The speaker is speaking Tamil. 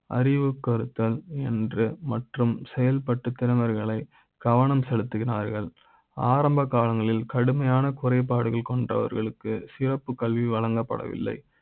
அறி வு றுத்தல் என்று மற்றும் செயல்பட்டு தலைவர்களை கவனம் செலுத்துகிறார்கள் ஆரம்ப கால ங்களில் கடுமையான குறைபாடுகள் கொண்ட வர்களுக்கு சிறப்பு கல்வி வழங்கப்பட வில்லை